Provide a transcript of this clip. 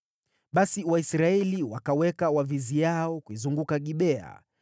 Basi Waisraeli wakaweka waviziao kuizunguka Gibea.